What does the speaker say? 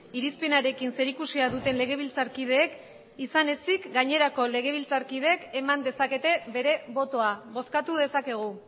irizpenarekin zerikusia duten legebiltzarkideek izan ezik gainerako legebiltzarkideek eman dezakete bere botoa bozkatu dezakegu